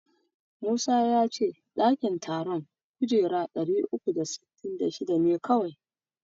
Musa ya ce ɗakin taron kujera ɗari uku da sittin da shida ne kawai.